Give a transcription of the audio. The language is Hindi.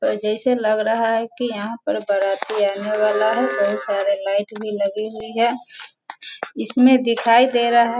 और जैसे लग रहा है की यहाँ पर बाराती आने वाला है बहुत सारे लाइट भी लगी हुई है इसमें दिखाई दे रहा है --